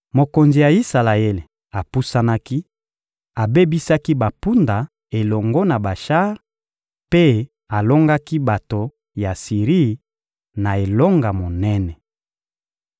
Mokonzi ya Isalaele apusanaki, abebisaki bampunda elongo na bashar mpe alongaki bato ya Siri na elonga monene.